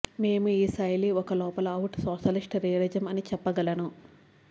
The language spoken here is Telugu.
మేము ఈ శైలి ఒక లోపల అవుట్ సోషలిస్ట్ రియలిజం అని చెప్పగలను